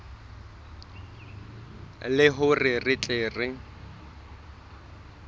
le hore re tle re